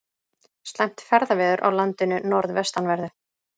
Slæmt ferðaveður á landinu norðvestanverðu